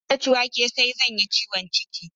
Idan na ci wake sai zan yi ciwon ciki